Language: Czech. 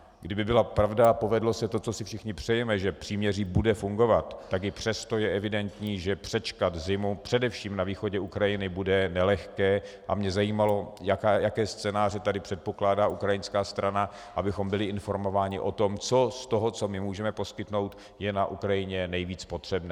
Kdyby byla pravda a povedlo se to, co si všichni přejeme, že příměří bude fungovat, tak i přesto je evidentní, že přečkat zimu především na východě Ukrajiny bude nelehké, a mě zajímalo, jaké scénáře tady předpokládá ukrajinská strana, abychom byli informováni o tom, co z toho, co my můžeme poskytnout, je na Ukrajině nejvíc potřebné.